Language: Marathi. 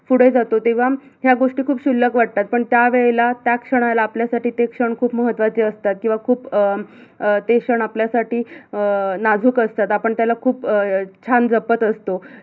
पुढे जातो तेव्हा या गोष्टी खूप शुल्लक वाटतात, पण त्यावेळेला, त्या क्षणाला आपल्यासाठी ते क्षण खूप महत्त्चाचे असतात किवा खूप अं ते क्षण आपल्यासाठी अं नाजुक असतात. आपण त्याला खूप छान जपत असतो.